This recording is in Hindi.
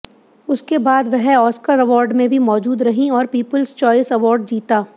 उसके बाद वह ऑस्कर अवार्ड में भी मौजूद रहीं और पीपुल्स च्वाइस अवार्ड जीता